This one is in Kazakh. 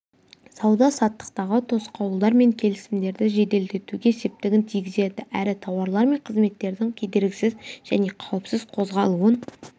сауда-саттықтағы тосқауылдар мен келісімдерді жеделдетуге септігін тигізеді әрі тауарлар мен қызметтердің кедергісіз және қауіпсіз қозғалуын